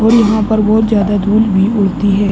और यहाँ पर बहुत ज्यादा धूल भी उड़ती है।